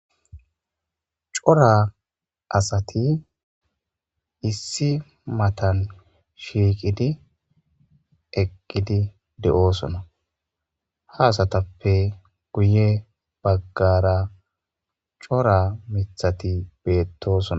Cora asati issi matan shiiqidi eqqidi de'oosona haasatappe guye baggara cora mithati beettoso.